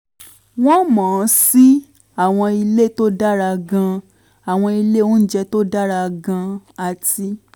wọ́n mọ̀ ọ́n sí àwọn ilé tó dára gan-an àwọn ilé oúnjẹ tó dára gan-an àti